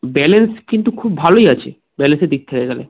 balance কিন্তু খুব ভালোই আছে quality দিক থেকে খেলে